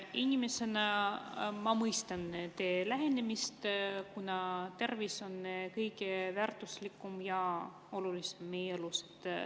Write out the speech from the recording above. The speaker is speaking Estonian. Inimesena ma mõistan teie lähenemist, kuna tervis on kõige väärtuslikum ja olulisem meie elus.